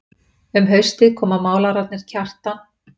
Um haustið koma málararnir Kjartan